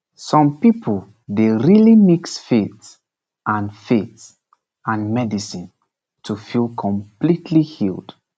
some people dey really mix faith and faith and medicine to feel completely healed